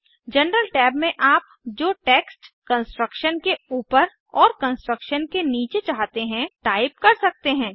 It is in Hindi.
जनरल टैब में आप जो टेक्स्ट कंस्ट्रक्शन के ऊपर और कंस्ट्रक्शन के नीचे चाहते हैं टाइप कर सकते हैं